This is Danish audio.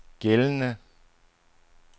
gældende